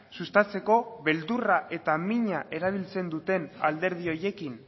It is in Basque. sustatzeko beldurra eta mina erabiltzen duten alderdi horiekin